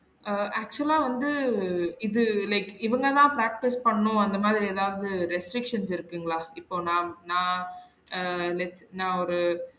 ஆஹ் actual ஆ வந்து இது like இவங்க தான் practice பண்ணும் அந்த மாதிரி எதாவது restrictions இருக்குங்களா? இப்ப நா நா அஹ் let நா ஒரு